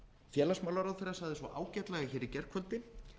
félagsmálaráðherra sagði svo ágætlega í gærkvöldi